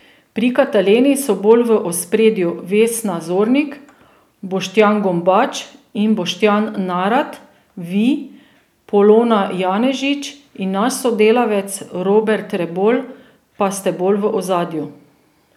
Pri Kataleni so bolj v ospredju Vesna Zornik, Boštjan Gombač in Boštjan Narat, vi, Polona Janežič in naš sodelavec Robert Rebolj pa ste bolj v ozadju.